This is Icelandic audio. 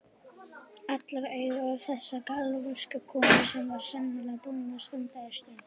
Allra augu á þessari galvösku konu sem var svo sannarlega búin að standa í ströngu.